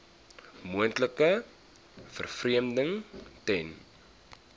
moontlike vervreemding ten